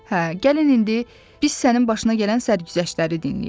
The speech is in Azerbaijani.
Hə, gəlin indi biz sənin başına gələn sərgüzəştləri dinləyək.